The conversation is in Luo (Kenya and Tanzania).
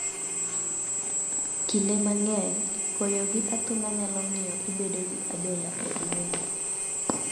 Kinde mang�eny, koyo gi athung'a nyalo miyo ibedo gi adhola e duondi.